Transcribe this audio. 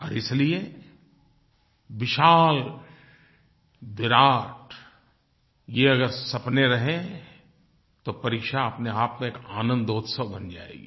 और इसलिए विशाल विराट ये अगर सपने रहें तो परीक्षा अपने आप में एक आनंदोत्सव बन जायेगी